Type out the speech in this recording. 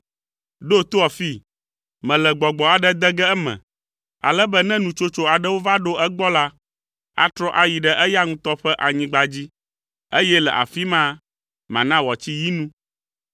Ɖo to afii: mele gbɔgbɔ aɖe de ge eme, ale be ne nutsotso aɖewo va ɖo egbɔ la, atrɔ ayi ɖe eya ŋutɔ ƒe anyigba dzi, eye le afi ma, mana wòatsi yi nu.’ ”